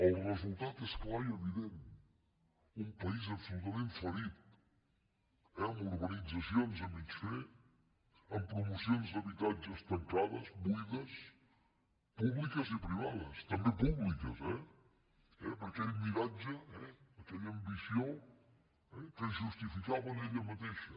el resultat és clar i evident un país absolutament ferit eh amb urbanitzacions a mig fer amb promocions d’habitatges tancades buides públiques i privades també públiques eh per aquell miratge aquella ambició que es justificava en ella mateixa